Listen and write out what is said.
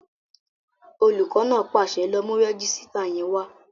Olùkọ́ náà pàṣẹ, "lọ mú rẹ́jísítà yẹn wá!"